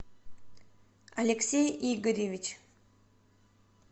алексей игоревич